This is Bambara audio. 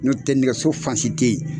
N'o tɛ nɛgɛso fansi te ye